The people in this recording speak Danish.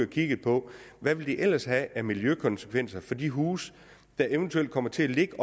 kigget på hvad det ellers ville have af miljøkonsekvenser for de huse der eventuelt kommer til at ligge